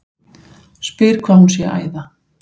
Spyr hvað hún sé að æða.